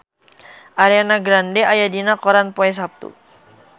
Ariana Grande aya dina koran poe Saptu